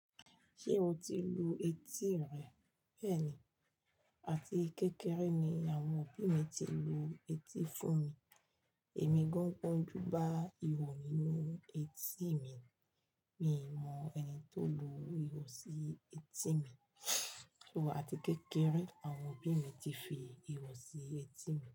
Ṣé o ti lu etí ri? Bẹ́ẹ̀ni, àti kékeré ni àwọn òbí mi ti lu etí fún mi. Ẹ̀mi gọ́ń gbonju ba ihò nínú etí mi. Mi mọ ẹni tó lu ihò sí etí mi, ṣùgbọ́n àti kékeré àwọn òbí mi ti fi ihò sí etí mi.